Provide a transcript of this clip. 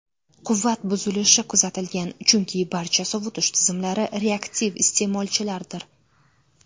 Quvvat buzilishi kuzatilgan, chunki barcha sovutish tizimlari reaktiv iste’molchilardir.